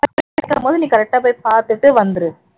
correct ஆ போய் பாத்துட்டு வந்துரு